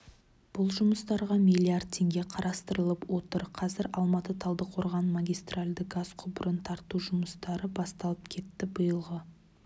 бұл жұмыстарға миллиард теңге қарастырылып отыр қазір алматы-талдықорған магистральды газ құбырын тарту жұмыстары басталып кетті биылғы